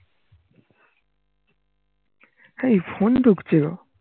এই phone ঢুকছিলো